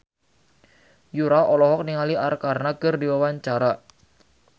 Yura olohok ningali Arkarna keur diwawancara